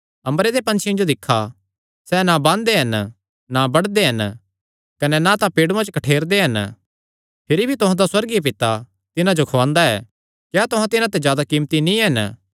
अम्बरे दे पंछियां जो दिक्खा सैह़ ना बांदे हन ना बडदे हन कने ना तां पेड़ूयां च कठ्ठेरदे हन भिरी भी तुहां दा सुअर्गीय पिता तिन्हां जो खुआंदा ऐ क्या तुहां तिन्हां ते जादा कीमती नीं हन